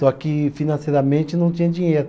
Só que financeiramente não tinha dinheiro.